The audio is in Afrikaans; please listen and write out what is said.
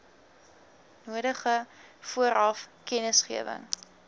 nodige vooraf kennisgewing